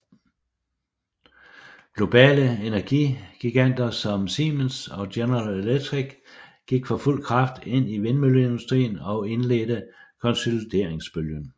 Globale energigiganter som Siemens og General Electric gik for fuld kraft ind i vindmølleindustrien og indledte konsolideringsbølgen